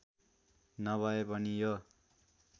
नभए पनि यो